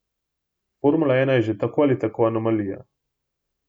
Formula ena je že tako ali tako anomalija.